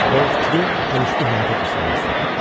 Və o fikri əl üstü həyata keçirmək istədim.